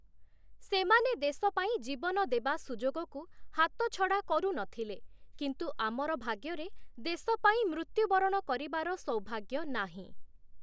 ସେମାନେ ଦେଶ ପାଇଁ ଜୀବନ ଦେବା ସୁଯୋଗକୁ ହାତଛଡ଼ା କରୁ ନ ଥିଲେ, କିନ୍ତୁ ଆମର ଭାଗ୍ୟରେ ଦେଶ ପାଇଁ ମୃତ୍ୟୁବରଣ କରିବାର ସୌଭାଗ୍ୟ ନାହିଁ ।